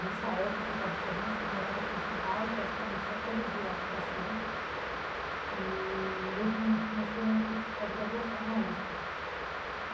Nessa época eu estava fazendo, morava aqui em São Paulo praticamente ia todo dia para Santos eee eu comecei um curso de pós-graduação na USP.